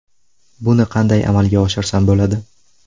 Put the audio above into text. Buni qanday amalga oshirsam bo‘ladi?